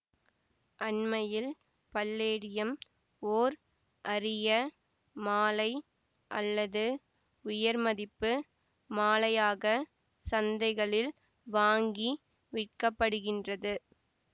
அண்மையில் பல்லேடியம் ஓர் அரிய மாழை அல்லது உயர்மதிப்பு மாழையாக சந்தைகளில் வாங்கி விற்கப்படுகின்றது